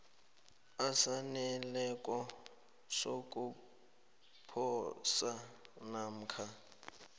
esaneleko sokuposa namkha